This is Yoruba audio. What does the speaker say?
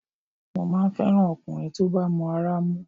Mo máa ń fẹ́ràn ọkùnrin tó bá mọ ara mú